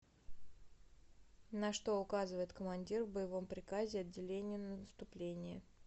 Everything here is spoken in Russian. на что указывает командир в боевом приказе отделению на наступление